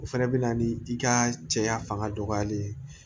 O fɛnɛ bɛ na ni i ka cɛya fanga dɔgɔyali ye